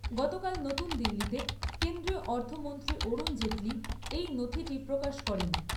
গতকাল নতুনসদিল্লীতে কেন্দ্রীয় অর্থমন্ত্রী অরুণ জেটলি এই নথিটি প্রকাশ করেন।